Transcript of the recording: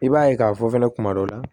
I b'a ye k'a fɔ fɛnɛ kuma dɔ la